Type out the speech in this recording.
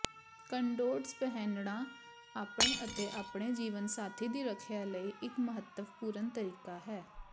ਕੰਡੋਡਮ ਪਹਿਨਣਾ ਆਪਣੇ ਅਤੇ ਆਪਣੇ ਜੀਵਨਸਾਥੀ ਦੀ ਰੱਖਿਆ ਲਈ ਇਕ ਮਹੱਤਵਪੂਰਨ ਤਰੀਕਾ ਹੈ